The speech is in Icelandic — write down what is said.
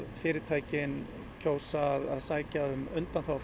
fyrirtækin kjósa að sækja um undanþágu